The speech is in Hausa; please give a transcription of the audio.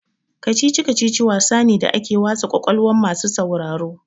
Kicici-kacici wasa ne da ake wasa kwakwalwa masu sauraro.